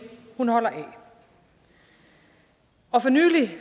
hun holder af for nylig